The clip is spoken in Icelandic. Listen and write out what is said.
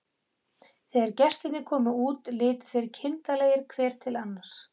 Þegar gestirnir komu út litu þeir kindarlegir hver til annars.